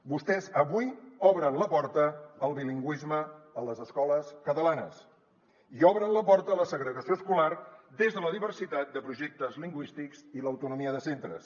vostès avui obren la porta al bilingüisme a les escoles catalanes i obren la porta a la segregació escolar des de la diversitat de projectes lingüístics i l’autonomia de centres